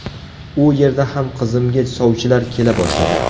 U yerda ham qizimga sovchilar kela boshladi.